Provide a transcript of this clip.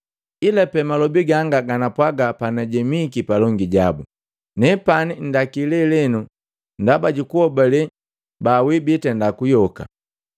ila pe malobi ganga ganapwaga panajemiki palongi jabu: ‘Nepani nndaki lelenu ndaba jukuhobale bawii bitenda kuyoka.’ ”